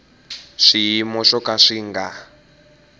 swiyimo swo ka swi nga